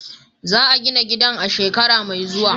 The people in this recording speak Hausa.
Za a gina gidan a shekara mai zuwa.